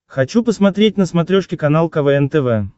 хочу посмотреть на смотрешке канал квн тв